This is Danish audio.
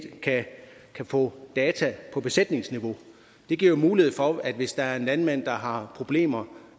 kan få data på besætningsniveau det giver jo mulighed for hvis der er en landmand der har problemer